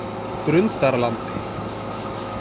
Grundarlandi